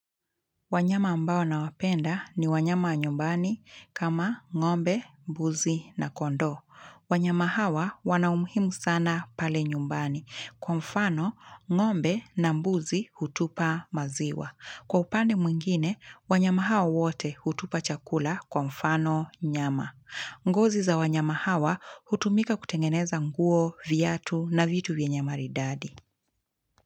Wanyama ambao na wapenda ni wanyama nyumbani kama ngombe, mbuzi na kondoo. Wanyama hawa wana umuhimu sana pale nyumbani. Kwa mfano, ngombe na mbuzi hutupa maziwa. Kwa upande mwingine, wanyama hao wote hutupa chakula kwa mfano nyama. Ngozi za wanyama hawa hutumika kutengeneza nguo, viatu na vitu vyenye maridadi.